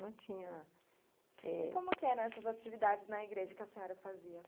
Não tinha... E como que eram essas atividades na igreja que a senhora fazia?